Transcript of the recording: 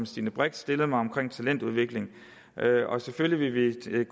stine brix stillede mig om talentudvikling selvfølgelig vil